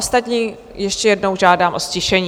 Ostatní ještě jednou žádám o ztišení.